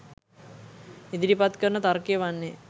ඉදිරිපත් කරන තර්කය වන්නේ